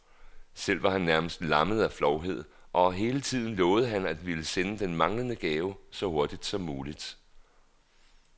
Selv var han næsten lammet af flovhed, og hele tiden lovede han at ville sende den manglende gave så hurtigt som muligt.